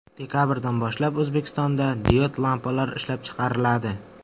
Dekabrdan boshlab O‘zbekistonda diod lampalar ishlab chiqariladi.